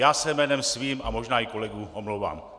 Já se jménem svým a možná i kolegů omlouvám.